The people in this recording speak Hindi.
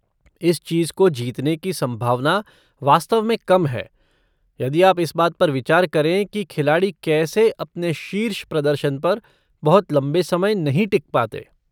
इस चीज़ को जीतने की संभावना वास्तव में कम है यदि आप इस बात पर विचार करें कि खिलाड़ी कैसे अपने शीर्ष प्रदर्शन पर बहुत लंबे समय नहीं टिक पाते।